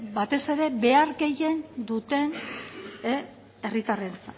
batez ere behar gehien behar duten herritarrentzat